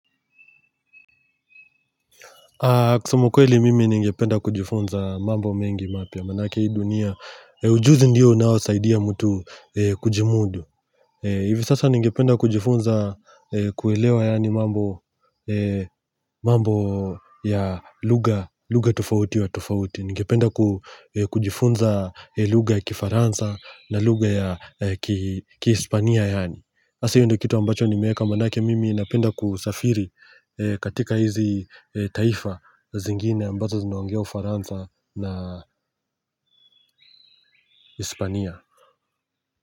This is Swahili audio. Kusema ukweli mimi ningependa kujifunza mambo mengi mapya maanake hii dunia Ujuzi ndio unaosaidia mtu kujimudu hivi sasa ningependa kujifunza kuelewa yaani mambo ya lugha tofauti tofauti. Ningependa kujifunza lugha ya kifaransa na lugha ya kihispania yaani. Sasa hiyo ndio kitu ambacho nimeeka maanake mimi napenda kusafiri katika hizi taifa zingine ambazo zinaongea Ufaransa na Hispania.